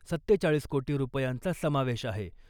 सत्तेचाळीस कोटी रुपयांचा समावेश आहे .